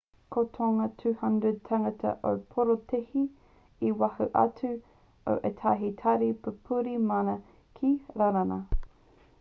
ko tōna 200 tāngata i porotēhi i waho atu o ētahi tari pupuri mana ki rānana